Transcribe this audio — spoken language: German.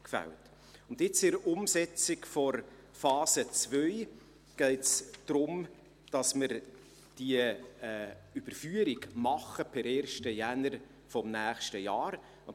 Jetzt, bei der Umsetzung der Phase II, geht es darum, dass wir diese Überführung per 1. Januar des nächsten Jahres machen.